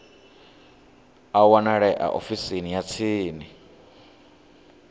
a wanalea ofisini ya tsini